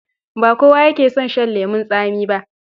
Ba kowa yake son shan lemon tsami ba.